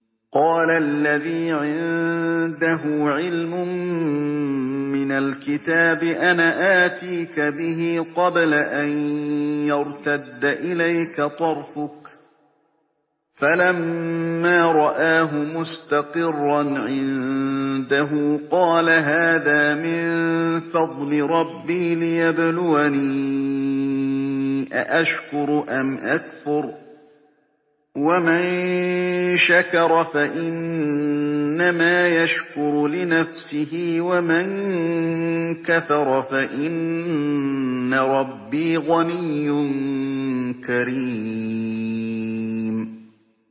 قَالَ الَّذِي عِندَهُ عِلْمٌ مِّنَ الْكِتَابِ أَنَا آتِيكَ بِهِ قَبْلَ أَن يَرْتَدَّ إِلَيْكَ طَرْفُكَ ۚ فَلَمَّا رَآهُ مُسْتَقِرًّا عِندَهُ قَالَ هَٰذَا مِن فَضْلِ رَبِّي لِيَبْلُوَنِي أَأَشْكُرُ أَمْ أَكْفُرُ ۖ وَمَن شَكَرَ فَإِنَّمَا يَشْكُرُ لِنَفْسِهِ ۖ وَمَن كَفَرَ فَإِنَّ رَبِّي غَنِيٌّ كَرِيمٌ